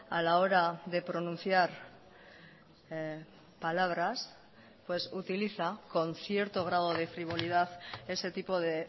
a la hora de pronunciar palabras pues utiliza con cierto grado de frivolidad ese tipo de